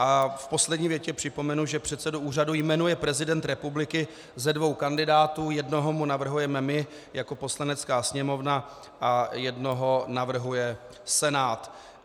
A v poslední větě připomenu, že předsedu úřadu jmenuje prezident republiky ze dvou kandidátů, jednoho mu navrhujeme my jako Poslanecká sněmovna a jednoho navrhuje Senát.